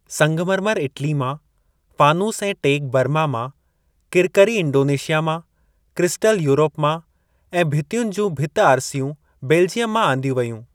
संगमरमर इटली मां, फ़ानूसु ऐं टेक बर्मा मां, किरकरी इंडोनेशिया मां, क्रिस्टल यूरप मां ऐं भितियुनि जूं भिति-आरसियूं बेलजियम मां आंदियूं वेयूं।